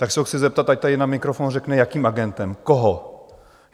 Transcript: Tak se ho chci zeptat, ať tady na mikrofon řekne, jakým agentem, koho.